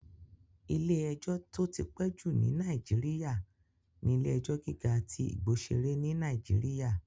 Ilé-ẹjọ́ tó ti pẹ́ jù ní Nàìjíríyà ní Ilé-ẹjọ́ gíga tí Igbosere ní Nàìjíríyà